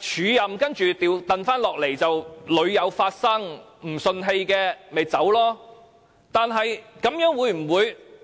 署任後恢復舊職的安排屢有發生，若不服氣大可辭職。